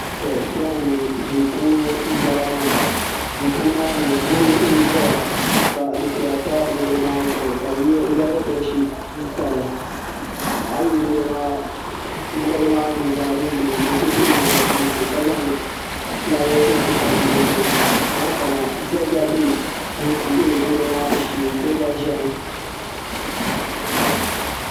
To kpɛŋɔ mi duu puuni m-bala maa duu puuni maa mi garo n-ʒeya ka dufɛya pa garo maa zuɣu ka bɛ yɛrigi bedi shiti m-pa li a yuli garo nuzaa mini di bɛ ku dihi li la nachiinsi ka fulaawaasi tam di zuɣu ayi kana diɣu gba ʒemi.